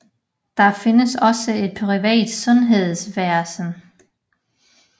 Der findes også et privat sundhedsvæsen